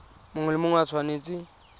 mongwe le mongwe o tshwanetse